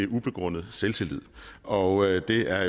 ubegrundet selvtillid og det er